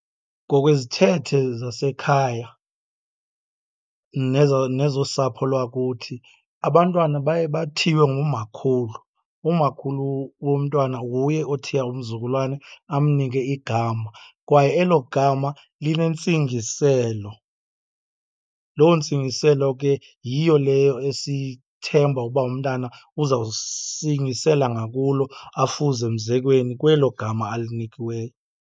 Ngokwezithethe zasekhaya nezosapho lwakuthi, abantwana baye bathiywe ngumakhulu. Umakhulu womntwana nguye othiya umzukulwane, amnike igama, kwaye elo gama linentsingiselo. Loo ntsingiselo ke yiyo leyo esithemba ukuba umntana uzawusingisela ngakulo, afuze emzekweni kwelo gama alinikiweyo.